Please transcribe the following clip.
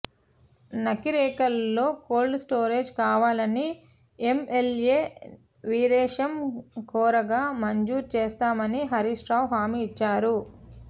నకిరేకల్ లో కోల్డ్స్టోరేజీ కావాలని ఎంఎల్ఏ వీరేశం కోరాగా మంజూరు చేస్తామని హరీశ్ రావు హామీ ఇచ్చారు